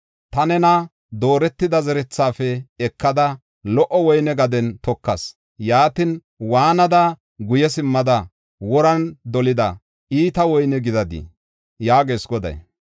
Ta nena dooretida zerethafe ekada, lo77o woyne gaden tokas. Yaatin, waanada, guye simmada, woran dolida, iita woyne gidadii?” yaagees Goday.